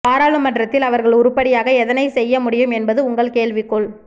பாராளுமன்றத்தில் அவர்கள் உருப்படியாக எதனை செய்ய முடியும் என்பது உங்கள் கேள்விக்குள்